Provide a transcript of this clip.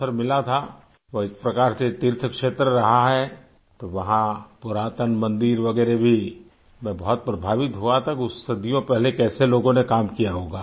अवसर मिला था वो एक प्रकार से तीर्थ क्षेत्र रहा है वहाँ पुरातन मंदिर वगैरह भी मैं बहुत प्रभावित हुआ था सदियों पहले कैसे लोगों ने काम किया होगा